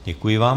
Děkuji vám.